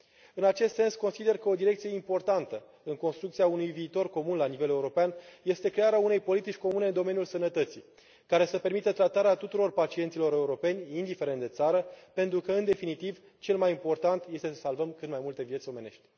În acest sens, consider că o direcție importantă în construcția unui viitor comun la nivel european este crearea unei politici comune în domeniul sănătății care să permită tratarea tuturor pacienților europeni, indiferent de țară, pentru că, în definitiv, cel mai important este să salvăm cât mai multe vieți omenești